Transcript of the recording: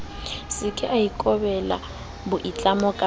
seke a ikobela boitlamo ba